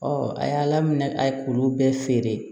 a y'a la minɛ a ye k'olu bɛɛ feere